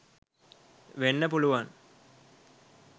වෙන්න පුළුවන්